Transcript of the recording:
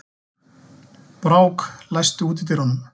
Brák, læstu útidyrunum.